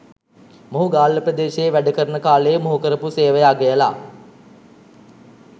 මොහු ගාල්ල ප්‍රදේශයේ වැඩකරන කාලයේ මොහු කරපු සේවය අගයලා